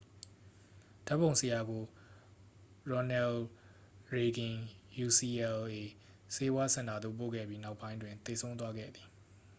ဓာတ်ပုံဆရာကို ရော်နယ်လ်ရေဂင် ယူစီအယ်လ်အေ ဆေးဝါးစင်တာသို့ပို့ခဲ့ပြီး နောက်ပိုင်းတွင် သေဆုံးသွားခဲ့သည်